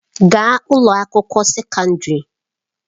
Gaa ụlọ akwụkwọ sekọndrị!